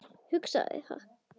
Hugsaði það.